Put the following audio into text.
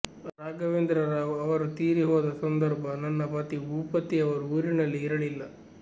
ರಾಘವೇಂದ್ರರಾವ್ ಅವರು ತೀರಿ ಹೋದ ಸಂದರ್ಭ ನನ್ನ ಪತಿ ಭೂಪತಿಯವರು ಊರಿನಲ್ಲಿ ಇರಲಿಲ್ಲ